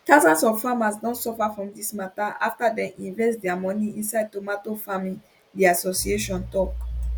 thousands of farmers don suffer from dis mata afta dem invest dia money inside tomato farming di association tok